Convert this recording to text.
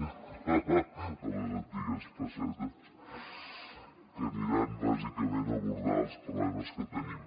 pessetes que aniran bàsicament a abordar els problemes que tenim